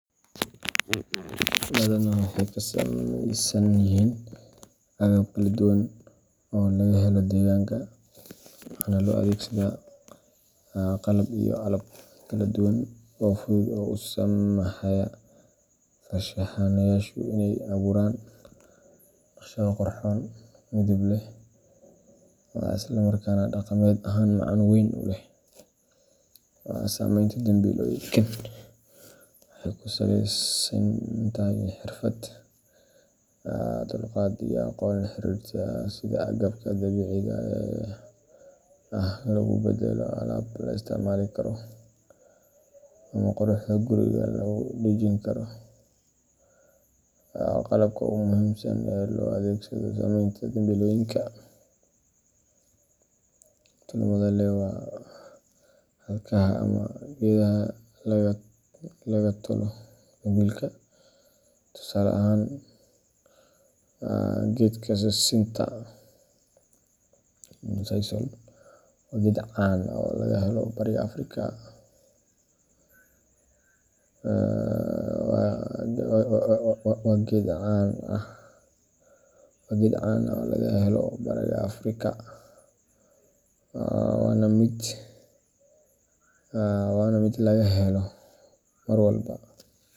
Badanaa waxay ka samaysan yihiin agab kala duwan oo laga helo deegaanka, waxaana loo adeegsadaa qalab iyo alaab kala duwan oo fudud oo u saamaxaya farshaxanayaashu inay abuuraan naqshado qurxoon, midab leh, isla markaana dhaqameed ahaan macno weyn u leh. Samaynta dambilooyinkan waxay ku salaysan tahay xirfad, dulqaad, iyo aqoon la xiriirta sida agabka dabiiciga ah loogu beddelo alaab la isticmaali karo ama quruxda guriga lagu dhejin karo. Qalabka ugu muhiimsan ee loo adeegsado samaynta dambilooyinka tolmada leh waa xadhkaha ama geedaha laga tolo dambilka. Tusaale ahaan, geedka sisinta sisal waa geed caan ah oo laga helo bariga Afrika, waana mid laga helo marwalba.